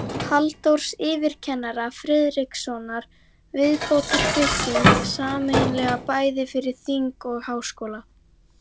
Halldórs yfirkennara Friðrikssonar viðbótarbygging, sameiginleg bæði fyrir þing og háskóla.